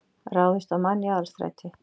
Ráðist á mann í Aðalstræti